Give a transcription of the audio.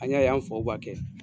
An y'a y'an faw b'a kɛ.